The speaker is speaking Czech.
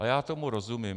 A já tomu rozumím.